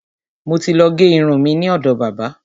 Mo ti ló gé irun mi ni ọ̀dọ̀ bábà.